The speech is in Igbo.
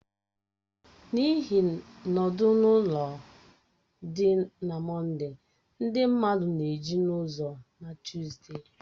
N'ihi nọdụ-na-ụlọ dị na Mọnde, ndị mmadụ na-eju n'ụzọ na Tuside